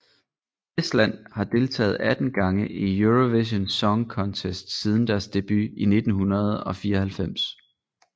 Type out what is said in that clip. Estland har deltaget 18 gange i Eurovision Song Contest siden deres debut i 1994